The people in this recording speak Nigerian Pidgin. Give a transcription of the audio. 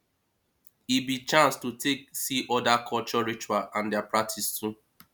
e be chance to take see oda culture ritual and dia practice too